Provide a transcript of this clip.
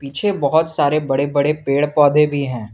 पीछे बहुत सारे बड़े बड़े पेड़ पौधे भी हैं।